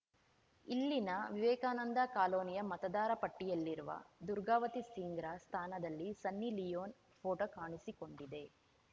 ಇಲ್ಲಿನ ವಿವೇಕಾನಂದ ಕಾಲೊನಿಯ ಮತದಾರ ಪಟ್ಟಿಯಲ್ಲಿರುವ ದುರ್ಗಾವತಿ ಸಿಂಗ್‌ರ ಸ್ಥಾನದಲ್ಲಿ ಸನ್ನಿ ಲಿಯೋನ್‌ ಫೋಟೋ ಕಾಣಿಸಿಕೊಂಡಿದೆ